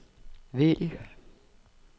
vælg